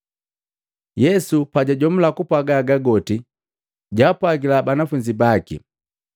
Yesu pajajomula kupwaga haga goti, jaapwagila banafunzi baki,